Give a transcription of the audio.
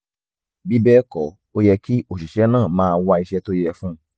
bí bẹ́ẹ̀ kọ́ ó yẹ kí òṣìṣẹ́ náà máa wá iṣẹ́ tó yẹ fún un